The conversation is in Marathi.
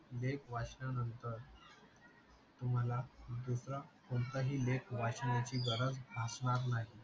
लेख वाचल्या नंतर तुम्हाला दूसरा कोणता ही लेख वाचण्याणी गरज भासणार नाही.